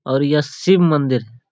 और यह शिव मंदिर है।